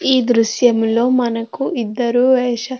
ఈ దృశ్యంలోని మనకు ఇద్దరూ వేషాలు --